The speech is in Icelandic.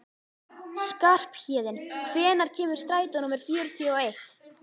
Skarphéðinn, hvenær kemur strætó númer fjörutíu og eitt?